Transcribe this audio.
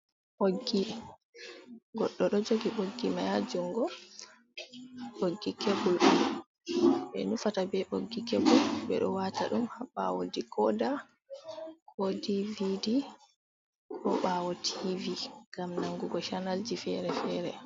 Ɓoggi goɗɗo ɗo jogi ɓoggi mai ha jungo, ɓoggi kebbul m be nufata ɓe boggi kebbul ɓe ɗo wata ɗum ha ɓawo di koda, co dvd, ko ɓawo tvi ngam nangugo chanalji fere-fere.